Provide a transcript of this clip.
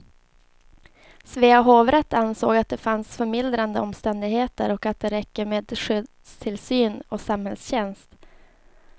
Svea hovrätt ansåg att det fanns förmildrande omständigheter och att det räcker med skyddstillsyn och samhällstjänst.